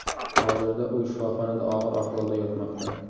Hozirda u shifoxonada og‘ir ahvolda yotmoqda.